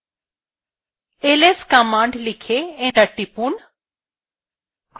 ls command লিখে enter টিপুন